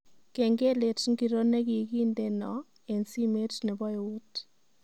Kengelet ngiro negigindeno eng simet nebo eut